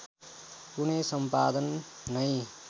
कुनै सम्पादन नै